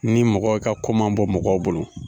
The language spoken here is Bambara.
Ni mɔgɔ i ka ko man bɔ mɔgɔw bolo